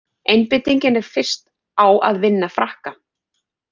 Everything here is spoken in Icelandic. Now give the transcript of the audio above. Einbeitingin er fyrst á að vinna Frakka.